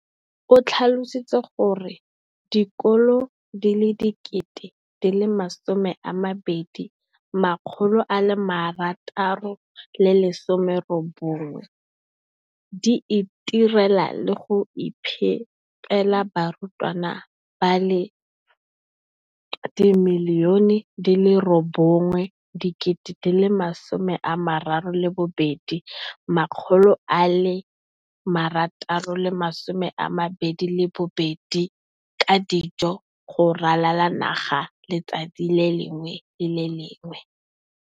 o tlhalositse gore dikolo di le 20 619 di itirela le go iphepela barutwana ba le 9 032 622 ka dijo go ralala naga letsatsi le lengwe le le lengwe.